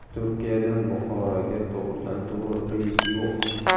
Turkiyadan Buxoroga to‘g‘ridan-to‘g‘ri reys yo‘q.